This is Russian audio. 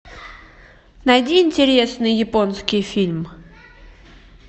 найди интересный японский фильм